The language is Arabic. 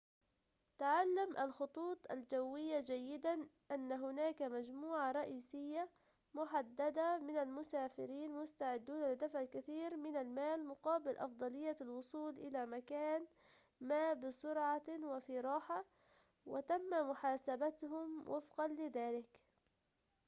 تعلم الخطوط الجوية جيداً أن هناك مجموعة رئيسية محددة من المسافرين مستعدون لدفع الكثير من المال مقابل أفضلية الوصول إلى مكان ما بسرعة وفي راحة وتتم محاسبتهم وفقاً لذلك